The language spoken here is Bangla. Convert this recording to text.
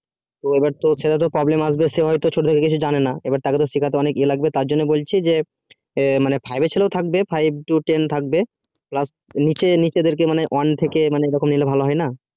তো এইবার তো সেটা তো problem হবে যে ছোট থেকে কিছু জানে না তাকে শিখতে অনেক কিছু ই এ লাগবে বলছি যে five এর ছেলে থাকবে নিচে দিক থেকে মা মা মানে one থেকে নিচে নিলে ভালো হয় না